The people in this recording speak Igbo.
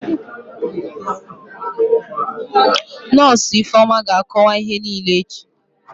Nọsụ Ifeoma ga-akọwa ihe niile echi